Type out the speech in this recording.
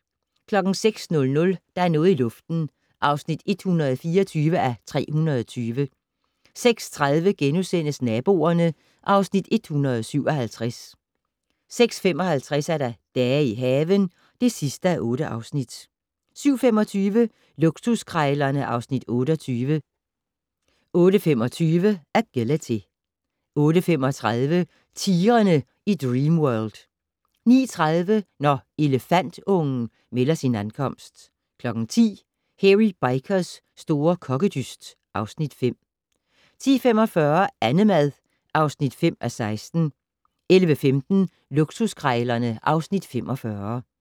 06:00: Der er noget i luften (124:320) 06:30: Naboerne (Afs. 157)* 06:55: Dage i haven (8:8) 07:25: Luksuskrejlerne (Afs. 28) 08:25: Agility 08:35: Tigrene i Dreamworld 09:30: Når elefantungen melder sin ankomst 10:00: Hairy Bikers' store kokkedyst (Afs. 5) 10:45: Annemad (5:16) 11:15: Luksuskrejlerne (Afs. 45)